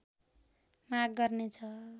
माग गर्नेछ